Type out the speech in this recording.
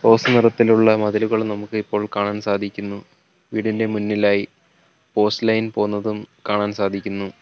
Rose നിറത്തിലുള്ള മതിലുകൾ നമുക്ക് ഇപ്പോൾ കാണാൻ സാധിക്കുന്നു വീടിൻറെ മുന്നിലായി പോസ്റ്റ് ലൈൻ പോന്നതും കാണാൻ സാധിക്കുന്നു.